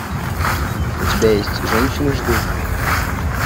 у тебя есть женщины ждут